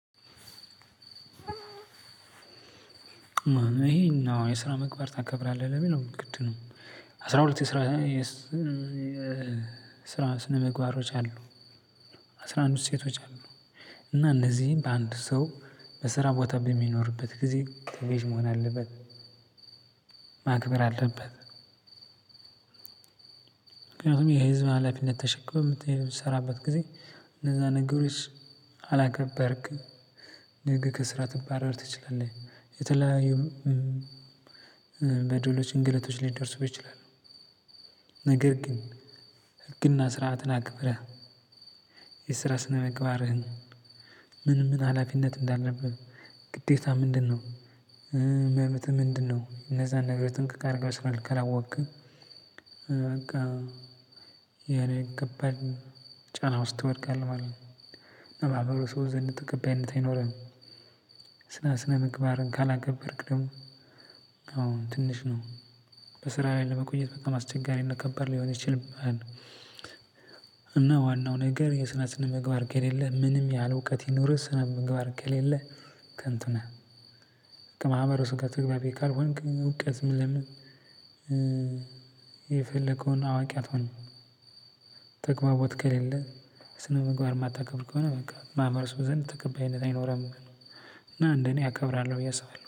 ይሄን አው የስራ መግባር ታከብራለህ ለሚለው ግድ ነው። አስራ ሁለት የስራ ስራ ስነምግባሮች አሉ። አስራ አንድ እሴቶች አሉ። እና እነዚህን በአንድ ሰው በስራ ቦታ በሚኖርበት ጊዜ መሆን አለበት ማክበር አለበት። ምክንያቱም የህዝብ ሀላፊነት ተሸክመህ እምትሰራበት ጊዜ እነዛ ነገሮች አላገባርክም ነገ ከስራ ትባረር ትችላለህ። የተለያዩም በደውሎች እንግለቶች ሊደርስ ይችላል ነው። ነገር ግን ህግና ስርዓትን አክብረህ የስራ ስነምግባርህን ምን ምን ሀላፊነት እንዳለብህ ግዴታ ምንድነው? መብትህ ምንድነው? እነዛን ነገሮች ጥንቅቅ አድርገህ በስልክ ካላአወቅክ። በቃ ያኔ ከባድ ነው ጫና ውስጥ ትወድቃለህ ማለት ነው። ማህበሩ ሰው ዘንድ ተቀባይነት አይኖርህም። ስና ስነ ምግባርን ካላገበርክ ደሞ አሁን ትንሽ ነው በስራ ላይ ለመቆየት በጣም አስቸጋሪነት ከባድ ሊሆን ይችልብሀል። እና ዋናው ነገር የስራ ስነ ምግባር ከሌለህ ምንም ያህል እውቀት ይኑርህ ስነምግባር ከሌለህ። ከንቱ ነህ ከማህበሩ ጋ ተግባቢ ካልሆንክ እውቀት ምን የፈለከውን አዋቂ አትሆንም። ተግባቦት ከሌለ ስነ ምግባር እማታከብር ከሆነ በቃ ማህበረሰቡ ዘንድ ተቀባይነት አይኖርም። እና እደ እኔ አከብራለሁ ብዬ አስባለሁ